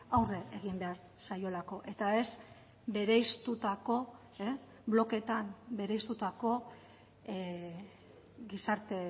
aurre egin behar zaiolako eta ez bereiztutako blokeetan bereiztutako gizarte